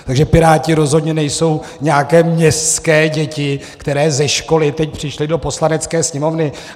Takže Piráti rozhodně nejsou nějaké městské děti, které ze školy teď přišly do Poslanecké sněmovny.